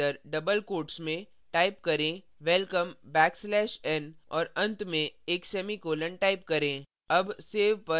bracket के अंदर double quotes में type करें welcome backslash n और अंत में एक semicolon type करें